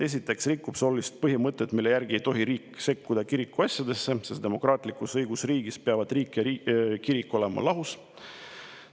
Esiteks rikub see olulist põhimõtet, mille järgi ei tohi riik sekkuda kiriku asjadesse, sest demokraatlikus õigusriigis peavad riik ja kirik olema lahus.